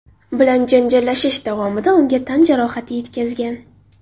bilan janjallashish davomida unga tan jarohati yetkazgan.